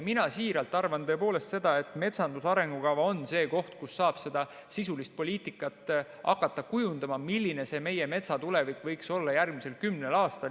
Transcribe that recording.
Mina siiralt arvan seda, et metsanduse arengukava on see koht, kus saab seda sisulist poliitikat hakata kujundama, milline meie metsa tulevik võiks olla järgmisel kümnel aastal.